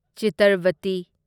Chitravati